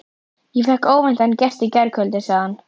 Ég fékk óvæntan gest í gærkvöldi, sagði hann.